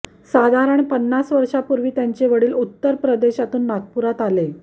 साधारण पन्नास वर्षांपूर्वी त्यांचे वडील उत्तर प्रदेशातून नागपुरात आले